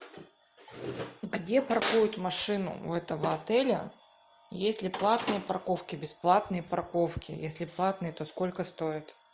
где паркуют машину у этого отеля есть ли платные парковки бесплатные парковки если платные то сколько стоят